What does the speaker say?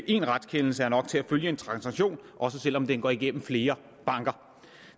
én retskendelse er nok til at følge en transaktion også selv om den går igennem flere banker